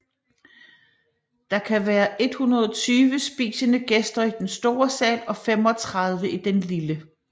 Der kan være 120 spisende gæster i den store sal og 35 i den lille